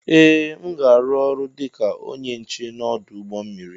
Ee aga m arụ ọrụ dịka ónyé nche n'odu ụgbọ mmiri.